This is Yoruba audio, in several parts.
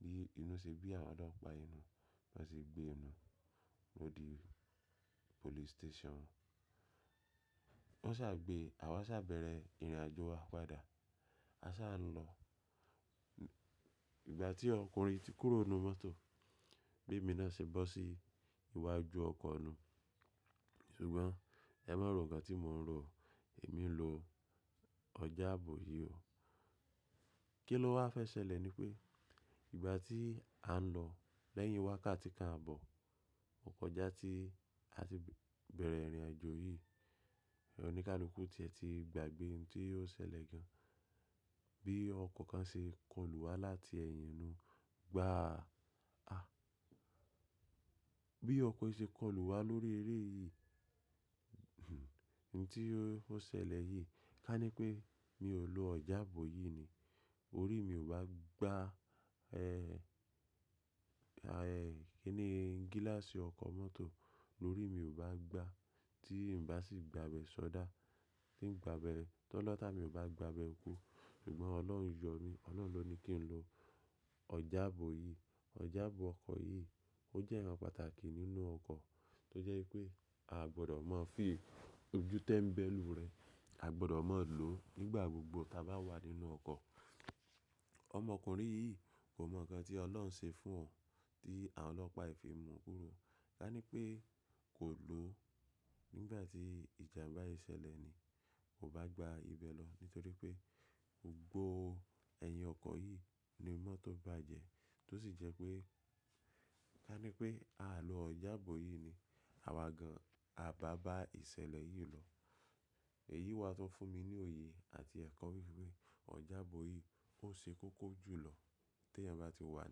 Bí inú ṣe bí àwọn ọlọ́pàá núun, bí wọ́n se gbé nùun lọ dí police station. Wọ́n sá gbé, àwa sá bẹ̀rẹ̀ ìrìnàjò wa padà. A sá lọ. Ìgbà tí ọkùnrin ti kúrò nínú mọ́tò, bí èmi náà ṣe bọ́ sí iwájú ọkọ̀ nùun. Ṣùgbọ́n ẹ má rò nkán tí mò ń rò, èmi n lo ọjàbọ̀ yìí o. Kí ló wá fẹ́ ṣẹlẹ̀ ni pé ìgbà tí a n lọ lẹ́yìn wákàtí kan àbọ̀, òkòjá tí a ti bẹ̀rẹ̀ ìrìnàjò yìí, ẹ oníkálukú tí ẹ ti gbàgbé ohun tí yóò ṣẹlẹ̀ gan. Bí ọkọ̀ kan ṣe kó lu wá láti ẹ̀yìn inú, gbá a. Bí ọkọ̀ yìí ṣe kó lu wá lórí eré yìí, nǹkan tí yóò ṣẹlẹ̀ yìí ká ní pé mi ò lo ọjàbọ̀ yìí ni. Orí mi ò bá gbá ẹ́, kí ni gíláàsì ọkọ̀ mọ́tò lórí mi ò bá gbá tí n bà sì gbabẹ́ ṣọdá. Tí n gbàbé, tó lọ́ta mi ò bá gbabẹ́ kú. Ṣùgbọ́n Ọlọ́run yọ̀ mí. Ọlọ́run ló ní kí n lo ọjàbọ̀ yìí. Ọjàbọ̀ ọkọ̀ yìí ó jẹ́ nǹkan pàtàkì nínú ọkọ̀ tó jẹ́ wípé a gbọdọ̀ máa fi ojútẹ̀ n bẹ̀ lù ú rẹ. A gbọdọ̀ má lò ó nígbà gbogbo tí a bá wà nínú ọkọ̀. Ọmọkùnrin yìí kò mọ̀ nǹkan tí Ọlọ́run ń ṣe fún ọ̀ tí àwọn ọlọ́pàá ìfẹ̀ mú un kúrò. Ká ní pé kò lò ó nígbà tí ìjàmbá yìí ṣẹlẹ̀ ni. Kò bá gba ibẹ̀ lọ nítorí pé gbogbo ẹ̀yìn ọkọ̀ yìí ni mọ́tò bá jẹ. Tó sì jẹ́ pé ká ní pé a lò ọjàbọ̀ yìí ni. Àwa gan-an a bà bá ìṣẹ̀lẹ̀ yìí lọ. Èyí wà tún fún mi ní òye àti ẹ̀kọ́ wípé ọjàbọ̀ yìí ó ṣe kókó jù lọ tí ẹ́ bá ti wà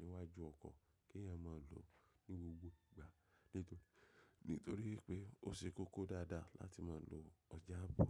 níwájú ọkọ̀ kí ẹ́ má lò ó ní gbogbo ìgbà. Nítorí pé ó ṣe kókó dáadáa láti máa lo ọjàbọ̀.